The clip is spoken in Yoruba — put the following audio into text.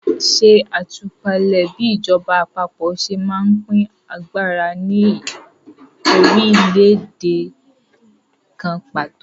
Ṣe àtúpalẹ̀ bí ìjọba àpapọ̀ ṣe ń pín agbára ní orílẹ̀-èdè kan pàtó.